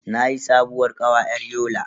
Nayi sabuwar kawa yar Yola.